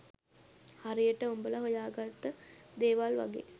හරියට උඹල හොයාගත්ත දේවල් වගේ